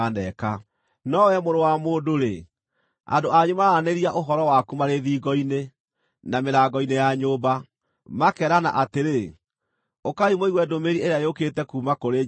“No wee mũrũ wa mũndũ-rĩ, andũ anyu maraaranĩria ũhoro waku marĩ thingo-inĩ, na mĩrango-inĩ ya nyũmba, makeerana atĩrĩ, ‘Ũkaai mũigue ndũmĩrĩri ĩrĩa yũkĩte kuuma kũrĩ Jehova.’